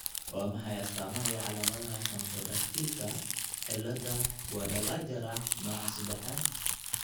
Waa maxay astamaha iyo calaamadaha Camptodactylka cilada Guadalajara nooca sedexad?